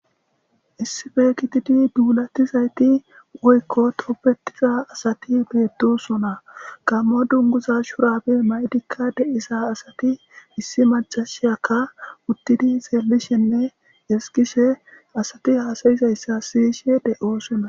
Issife kitidi duulatizayti oykko topbetiza asati beedosona gammo dunguza shurabe may7dikka de7isa asati issi macashiyakka uttidi seelishenne eskishe asati haasayizayssa siyishe de7oosona.